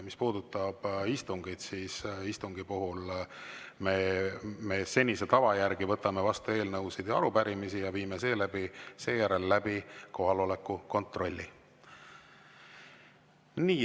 Mis puudutab istungeid, siis istungi puhul me senise tava järgi võtame vastu eelnõusid ja arupärimisi ja seejärel viime läbi kohaloleku kontrolli.